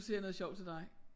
Siger jeg noget sjovt til dig